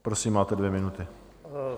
Prosím, máte dvě minuty.